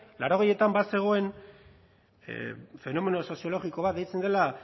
laurogeietan bazegoen fenomeno soziologiko bat deitzen dela